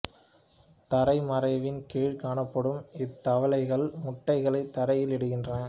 தரை மறைவின் கீழ்க் காணப்படும் இத்தவளைகள் முட்டைகளைத் தரையில் இடுகின்றன